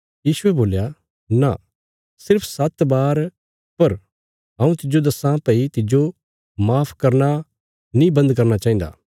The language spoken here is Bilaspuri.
यीशुये बोल्या न सिर्फ सात्त बार पर हऊँ तिज्जो दस्सां भई तिज्जो माफ करना नीं बन्द करना चाहिन्दा